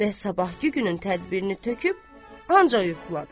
Və sabahkı günün tədbirini töküb ancaq yuxuladı.